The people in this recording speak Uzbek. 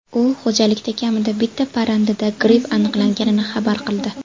U xo‘jalikda kamida bitta parrandada gripp aniqlanganini xabar qildi.